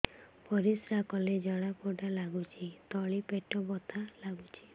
ପରିଶ୍ରା କଲେ ଜଳା ପୋଡା ଲାଗୁଚି ତଳି ପେଟ ବଥା ଲାଗୁଛି